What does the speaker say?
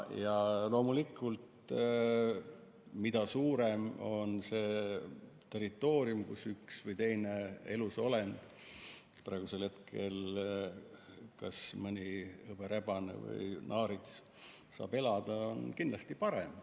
Loomulikult, mida suurem on territoorium, kus üks või teine elusolend, praegu konkreetselt siis hõberebane või naarits, saab elada, seda parem.